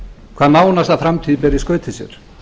hvað nánasta framtíð ber í skauti sér